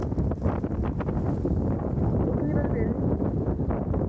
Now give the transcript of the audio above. ਕੁੱਛਣੀ, ਬਸ ਵੇਹਲੀ